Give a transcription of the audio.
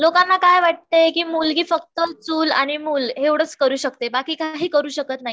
लोकांना काय वाटते मुलगी फक्त चूल आणि मूल एवढाच करू शकते बाकी काही करू शकत नाही